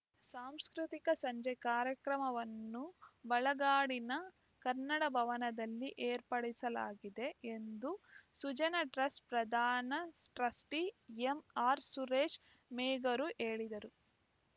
ಸಾಂಸ್ಕೃತಿಕ ಸಂಜೆ ಕಾರ್ಯಕ್ರಮವನ್ನು ಬಾಳಗಡಿನ ಕನ್ನಡ ಭವನದಲ್ಲಿ ಏರ್ಪಡಿಸಲಾಗಿದೆ ಎಂದು ಸುಜನ ಟ್ರಸ್ಟ್‌ ಪ್ರಧಾನ ಟ್ರಸ್ಟಿ ಎಂಆರ್‌ ಸುರೇಶ್‌ ಮೇಗೂರು ಹೇಳಿದರು